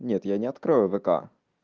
нет я не открою вк